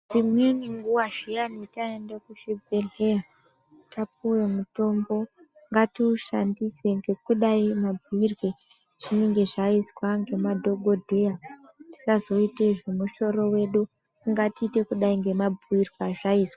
Imweni nguva zviyani taenda kuzvibhedhlera, tapuwa mutombo, ngatiushandise ngekudai mabhuyirwe ezvinenge zvaizwa ngemadhogodheya, tisazoite zvemusoro wedu, ngatiite kudai ngemabhuyirwe azvaizwa.